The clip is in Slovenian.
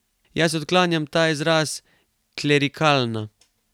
Jaz odklanjam ta izraz, klerikalna.